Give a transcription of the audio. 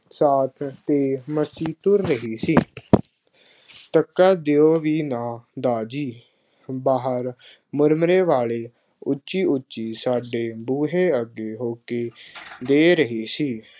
ਸ਼ਾਖ ਤੇ ਮਸੀਂ ਤੁਰ ਰਹੀ ਸੀ। ਟਕਾ ਦਿਓ ਵੀ ਨਾ, ਦਾਰ ਜੀ, ਬਾਹਰ ਮੁਰਮਰੇ ਵਾਲੇ ਉੱਚੀ ਉੱਚੀ ਸਾਡੇ ਬੂਹੇ ਅੱਗੇ ਹੋਕੇ ਦੇ ਰਹੇ ਸੀ।